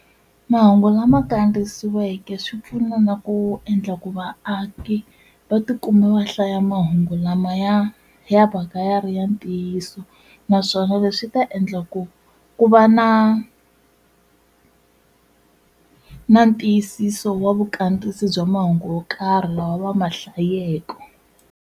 Mahungu lama kandziyisiweke swi pfuna na ku endla ku vaaki va tikuma va hlaya mahungu lamaya ya va ka ya ri ya ntiyiso naswona leswi swi ta endla ku ku va na na ntiyisiso wa vukambisi bya mahungu yo karhi lawa va ma hlayeke.